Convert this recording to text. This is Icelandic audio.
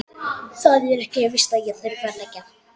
Það er ekkert víst að ég þurfi að leigja.